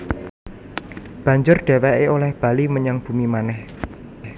Banjur dhèwèké olèh bali menyang bumi manèh